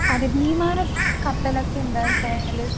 അതെ വിമാനം, കപ്പല് ഒക്കെ എന്താച്ചാല്